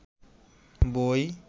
বই